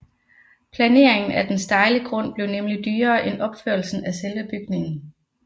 Planeringen af den stejle grund blev nemlig dyrere end opførelsen af selve bygningen